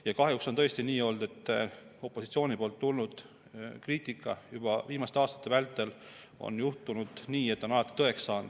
Ja kahjuks on tõesti juhtunud nii, et opositsioonilt tulnud kriitika, juba viimaste aastate vältel, on alati tõeks saanud.